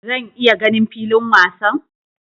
Zan iya ganin filin wasan?